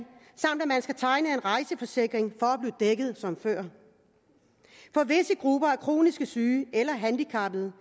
rejseforsikring for at blive dækket som før for visse grupper af kronisk syge eller handicappede